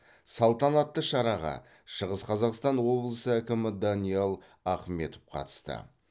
салтанатты шараға шығыс қазақстан облысы әкімі даниал ахметов қатысты